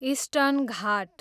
eastern Ghat